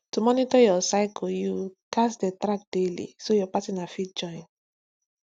to monitor your cycle you gats dey track daily so your partner fit join